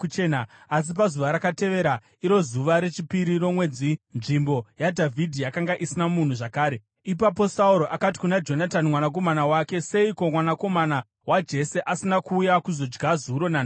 Asi pazuva rakatevera, iro zuva rechipiri romwedzi, nzvimbo yaDhavhidhi yakanga isina munhu zvakare. Ipapo Sauro akati kuna Jonatani mwanakomana wake, “Seiko mwanakomana waJese asina kuuya kuzodya zuro nanhasi?”